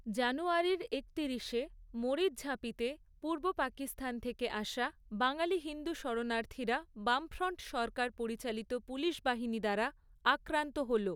জানুয়ারির একতিরিশে, মরিচঝাঁপিতে, পূর্ব পাকিস্তান থেকে আসা, বাঙালি হিন্দু শরণার্থীরা, বামফ্রন্ট সরকার পরিচালিত পুলিশ বাহিনী দ্বারা, আক্রান্ত হল।